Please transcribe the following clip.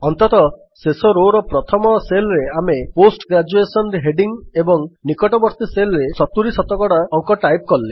ଅନ୍ତତଃ ଶେଷ Rowର ପ୍ରଥମ Cellରେ ଆମେ ପୋଷ୍ଟ ଗ୍ରେଜୁଏସନ୍ ହେଡିଙ୍ଗ୍ ଏବଂ ନିକଟବର୍ତ୍ତୀ Cellରେ 70 ଶତକଡା ଅଙ୍କ ଟାଇପ୍ କଲେ